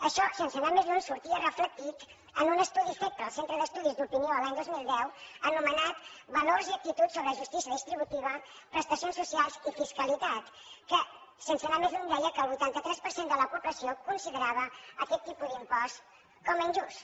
això sense anar més lluny sortia reflectit en un estudi fet pel centre d’estudis d’opinió l’any dos mil deu anomenat valors i actituds sobre justícia distributiva prestacions socials i fiscalitat que sense anar més lluny deia que el vuitanta tres per cent de la població considerava aquest tipus d’impost com a injust